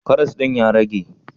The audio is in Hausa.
Karas din ya rage?